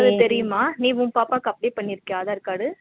தெரியுமா நீ உன் பாப்பாக்கு apply பண்ணியிருகயா aadhar card